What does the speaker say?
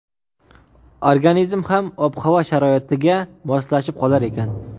Organizm ham ob-havo sharoitiga moslashib qolar ekan.